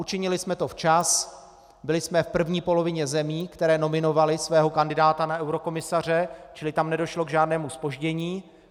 Učinili jsme to včas, byli jsme v první polovině zemí, které nominovaly svého kandidáta na eurokomisaře, čili tam nedošlo k žádnému zpoždění.